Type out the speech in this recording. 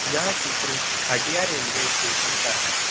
यह चित्र Hatia railway station का है।